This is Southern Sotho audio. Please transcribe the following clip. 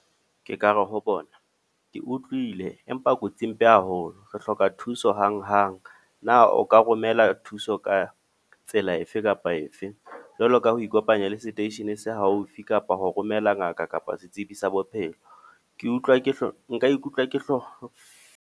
Ke ka re ho bona, ke utlwile empa kotsi e mpe haholo. Re hloka thuso hang-hang. Na o ka romela thuso ka tsela efe kapa efe. Jwalo ka ho ikopanya le seteisheneng se haufi kapa ho romela ngaka kapa setsibi sa bophelo. Ke utlwa ke nka ikutlwa ke hloho.